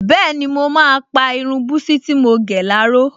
Bẹ́ẹ̀ni, mo máa pa irun búsí tí mo gẹ̀ láró